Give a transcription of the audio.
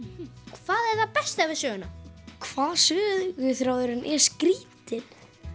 hvað er það besta við söguna hvað söguþráðurinn er skrítinn